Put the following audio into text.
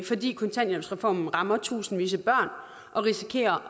fordi kontanthjælpsreformen rammer tusindvis af børn og risikerer